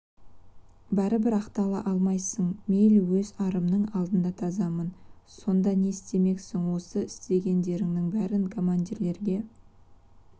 бәрі бір ақтала алмайсың мейлі өз арымның алдында тазамын сонда не істемексің осы істегендеріңнің бәрін командирлерге